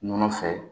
Nɔnɔ fɛ